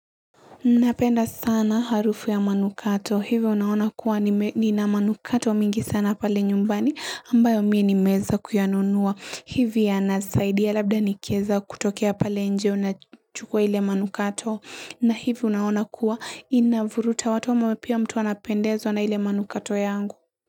Napenda sana harufu ya manukato. Hivyo unaona kuwa ni na manukato mingi sana pale nyumbani ambayo mie ni meza kuyanunua. Hivyo ya nasaidia labda nikeza kutokia pale nje unachukua ile manukato. Na hivyo unaona kuwa inavuruta watu wa mwepia mtu anapendezo na ile manukato yangu.